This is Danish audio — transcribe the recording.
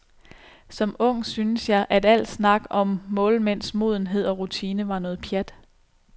Som ung syntes jeg, at al snak om målmænds modenhed og rutine var noget pjat.